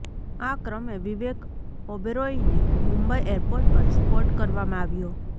આ ક્રમે વિવેક ઓબેરોયને મુંબઈ એરપોર્ટ પર સ્પોટ કરવામાં આવ્યો